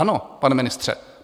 Ano, pane ministře.